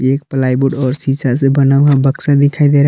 एक प्लाईवुड और शीशा से बना हुआ बक्सा दिखाई दे रहा है।